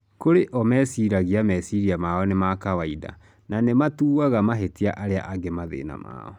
Kũrĩ o,meciaragĩa mecĩrĩa mao nĩ ma kawaida na nĩmatuaga mahĩtia arĩa angĩ mathina mao.